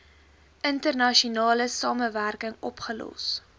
internasionale samewerking opgelos